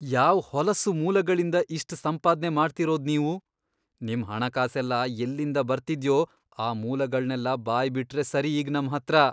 ಯಾವ್ ಹೊಲಸು ಮೂಲಗಳಿಂದ ಇಷ್ಟ್ ಸಂಪಾದ್ನೆ ಮಾಡ್ತಿರೋದ್ ನೀವು? ನಿಮ್ ಹಣಕಾಸೆಲ್ಲ ಎಲ್ಲಿಂದ ಬರ್ತಿದ್ಯೋ ಆ ಮೂಲಗಳ್ನೆಲ್ಲ ಬಾಯ್ಬಿಟ್ರೆ ಸರಿ ಈಗ್ ನಮ್ಹತ್ರ.